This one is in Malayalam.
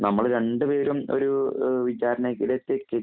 നമ്മള് രണ്ടുപേരും ഒരു വിചാരണയിലിത്തേക്ക്